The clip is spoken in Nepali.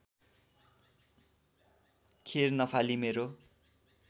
खेर नफाली मेरो